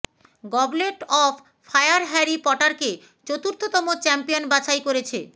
goblet of fire Harry পটারকে চতুর্থতম champion বাছাই করেছে